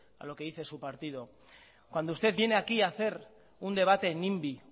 a lo que dice su partido cuando usted viene aquí a hacer un debate nimby